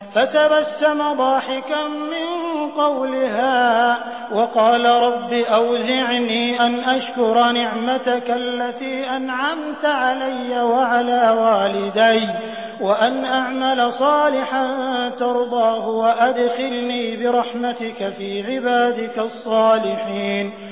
فَتَبَسَّمَ ضَاحِكًا مِّن قَوْلِهَا وَقَالَ رَبِّ أَوْزِعْنِي أَنْ أَشْكُرَ نِعْمَتَكَ الَّتِي أَنْعَمْتَ عَلَيَّ وَعَلَىٰ وَالِدَيَّ وَأَنْ أَعْمَلَ صَالِحًا تَرْضَاهُ وَأَدْخِلْنِي بِرَحْمَتِكَ فِي عِبَادِكَ الصَّالِحِينَ